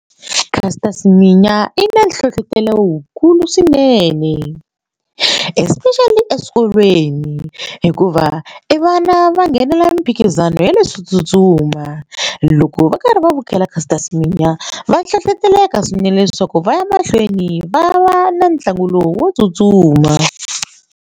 Caster Semenya i na nhlohlotelo lowukulu swinene especially eswikolweni hikuva i vana va nghenelela miphikizano ya leswo tsutsuma loko va karhi va vukheta Caster Semenya va hlohloteleka swinene leswaku va ya mahlweni va va na ntlangu lowu wo tsutsuma.